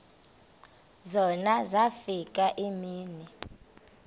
zona zafika iimini